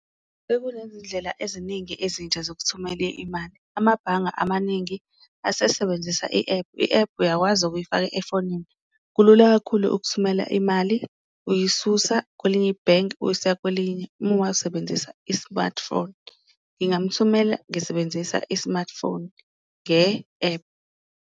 Sekunezindlela eziningi ezintsha zokuthumela imali amabhanga amaningi asesebenzisa i-app, i-app uyakwazi ukuyifaka efonini, kulula kakhulu ukuthumela imali uyisusa kwelinye ibhenki, uyisa kwelinye uma uwasebenzisa i-smartphone. Ngingamuthumela ngisebenzisa i-smartphone nge-app.